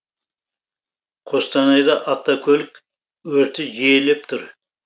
қостанайда автокөлік өрті жиілеп тұр